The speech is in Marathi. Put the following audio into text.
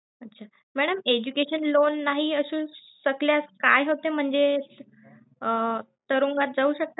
अच्छा Madam education loan नाही असू शकल्या काय होते म्हणजे अं तुरुंगात जाऊ